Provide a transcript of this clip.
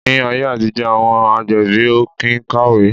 Ni ayé àtijó àwọn agbẹ̀bí o kín kàwé